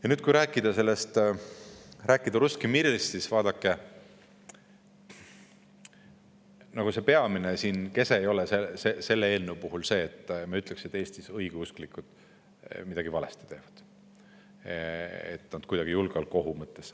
Ja kui rääkida Ruskii Mirist, siis vaadake, selle eelnõu peamine kese ei ole see, et me ütleksime, et Eestis õigeusklikud midagi valesti teevad, julgeolekuohu mõttes.